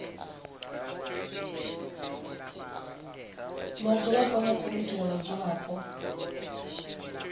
vhadzulapo na komiti ya vhadzulapo